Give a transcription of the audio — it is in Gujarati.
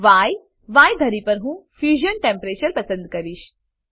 Y ય ધરી પર હું ફ્યુઝન ટેમ્પરેચર પસંદ કરીશ